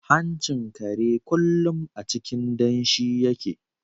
Hanchin kare kullum a cikin danshi yake.